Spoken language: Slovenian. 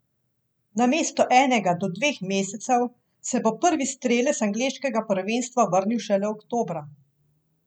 Namesto enega do dveh mesecev, se bo prvi strelec angleškega prvenstva vrnil šele oktobra.